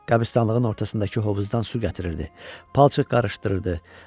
Qəbristanlığın ortasındakı hovuzdan su gətirirdi, palçıq qarışdırırdı.